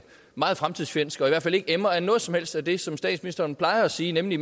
meget fremtidsfjendsk og i hvert fald ikke emmer af noget som helst af det som statsministeren plejer at sige nemlig